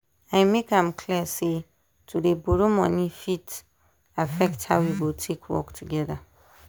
i make am clear say to dey borrow money fit affect how we go take work together.